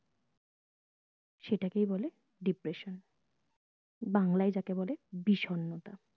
সেটা কেই বলে depression বাংলায় যাকে বলে বিষন্নতা